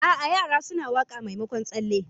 A'a, yara suna waƙa maimakon tsalle.